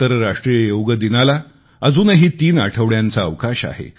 आंतरराष्ट्रीय योग दिनाला अजूनही तीन आठवड्यांचा अवकाश आहे